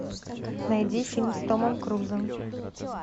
найди фильм с томом крузом